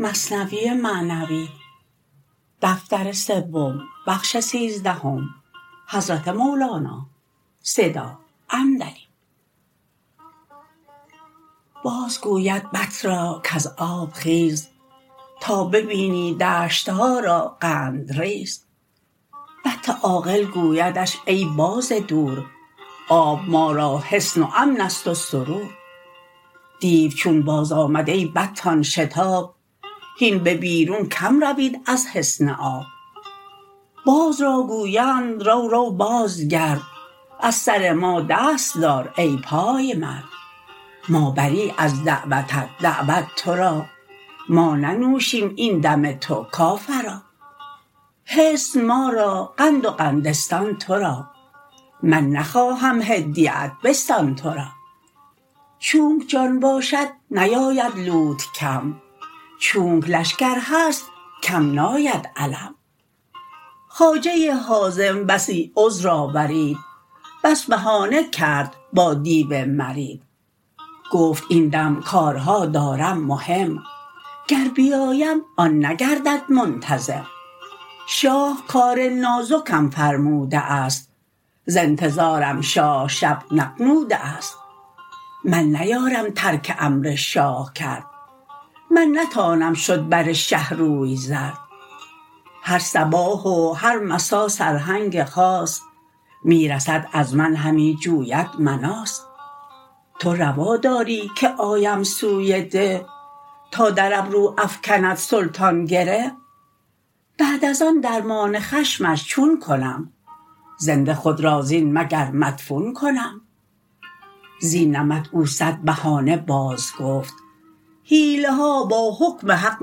باز گوید بط را کز آب خیز تا ببینی دشتها را قندریز بط عاقل گویدش ای باز دور آب ما را حصن و امنست و سرور دیو چون باز آمد ای بطان شتاب هین به بیرون کم روید از حصن آب باز را گویند رو رو باز گرد از سر ما دست دار ای پای مرد ما بری از دعوتت دعوت تو را ما ننوشیم این دم تو کافرا حصن ما را قند و قندستان تو را من نخواهم هدیه ات بستان تو را چونک جان باشد نیاید لوت کم چونک لشکر هست کم ناید علم خواجه حازم بسی عذر آورید بس بهانه کرد با دیو مرید گفت این دم کارها دارم مهم گر بیایم آن نگردد منتظم شاه کار نازکم فرموده است ز انتظارم شاه شب نغنوده است من نیارم ترک امر شاه کرد من نتانم شد بر شه روی زرد هر صباح و هر مسا سرهنگ خاص می رسد از من همی جوید مناص تو روا داری که آیم سوی ده تا در ابرو افکند سلطان گره بعد از آن درمان خشمش چون کنم زنده خود را زین مگر مدفون کنم زین نمط او صد بهانه باز گفت حیله ها با حکم حق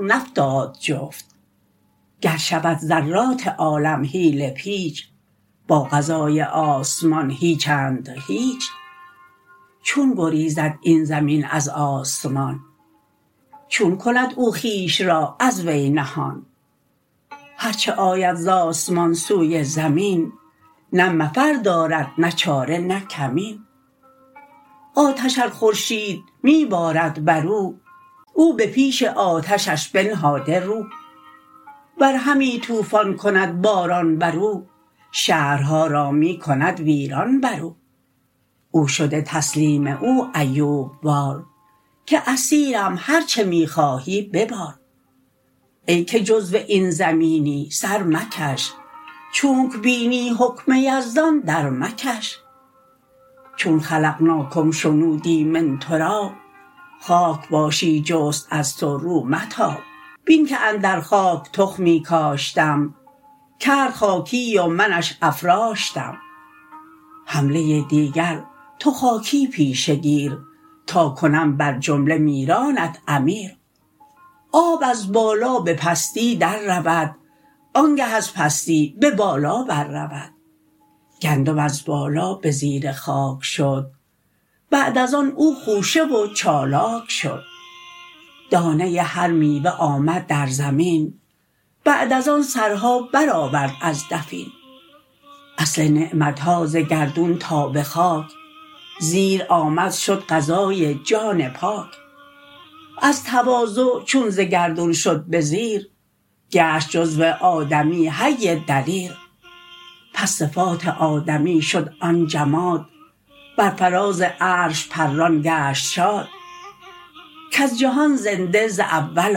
نفتاد جفت گر شود ذرات عالم حیله پیچ با قضای آسمان هیچند هیچ چون گریزد این زمین از آسمان چون کند او خویش را از وی نهان هرچه آید ز آسمان سوی زمین نه مفر دارد نه چاره نه کمین آتش ار خورشید می بارد برو او به پیش آتشش بنهاده رو ور همی طوفان کند باران برو شهرها را می کند ویران برو او شده تسلیم او ایوب وار که اسیرم هرچه می خواهی ببار ای که جزو این زمینی سر مکش چونک بینی حکم یزدان در مکش چون خلقناکم شنودی من تراب خاک باشی جست از تو رو متاب بین که اندر خاک تخمی کاشتم کرد خاکی و منش افراشتم حمله دیگر تو خاکی پیشه گیر تا کنم بر جمله میرانت امیر آب از بالا به پستی در رود آنگه از پستی به بالا بر رود گندم از بالا به زیر خاک شد بعد از آن او خوشه و چالاک شد دانه هر میوه آمد در زمین بعد از آن سرها بر آورد از دفین اصل نعمتها ز گردون تا به خاک زیر آمد شد غذای جان پاک از تواضع چون ز گردون شد به زیر گشت جزو آدمی حی دلیر پس صفات آدمی شد آن جماد بر فراز عرش پران گشت شاد کز جهان زنده ز اول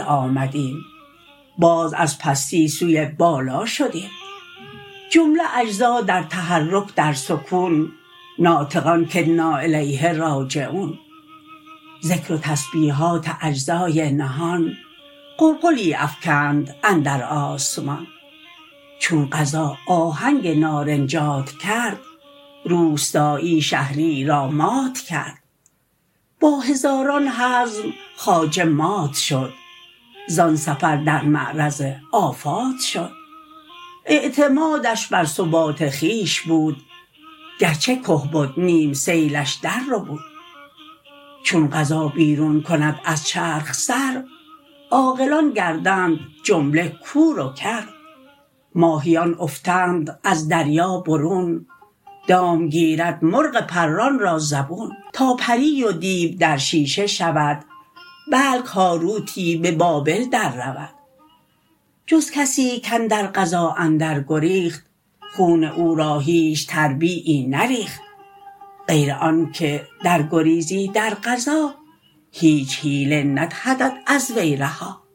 آمدیم باز از پستی سوی بالا شدیم جمله اجزا در تحرک در سکون ناطقان که انا الیه راجعون ذکر و تسبیحات اجزای نهان غلغلی افکند اندر آسمان چون قضا آهنگ نارنجات کرد روستایی شهریی را مات کرد با هزاران حزم خواجه مات شد زان سفر در معرض آفات شد اعتمادش بر ثبات خویش بود گرچه که بد نیم سیلش در ربود چون قضا بیرون کند از چرخ سر عاقلان گردند جمله کور و کر ماهیان افتند از دریا برون دام گیرد مرغ پران را زبون تا پری و دیو در شیشه شود بلک هاروتی به بابل در رود جز کسی کاندر قضا اندر گریخت خون او را هیچ تربیعی نریخت غیر آن که در گریزی در قضا هیچ حیله ندهدت از وی رها